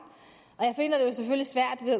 jeg